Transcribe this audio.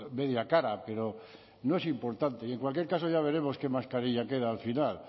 media cara pero no es importante y en cualquier caso ya veremos qué mascarilla queda al final